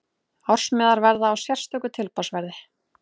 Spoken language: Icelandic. Ársmiðar verða á sérstöku tilboðsverði.